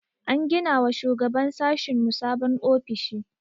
An gina wa shugaban sashinmu sabon ofishi.